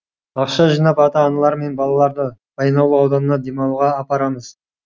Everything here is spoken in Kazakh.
ақша жинап ата аналар мен балаларды баянауыл ауданына демалуға апарамыз